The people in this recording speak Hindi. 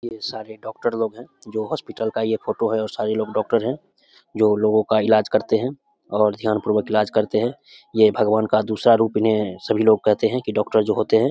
ये सारे डॉक्टर लोग है जो हॉस्पिटल का ये फोटो है और सारे लोग डॉक्टर हैं। जो लोगों का इलाज करते है और ध्यान पूर्वक करते है। ये भगवान का दूसरा रूप है इन्हे सभी लोग कहते है डॉक्टर जो होते हैं।